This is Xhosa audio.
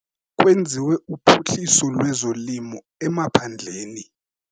Kwenziwa uphuhliso lwezolimo emaphandleni.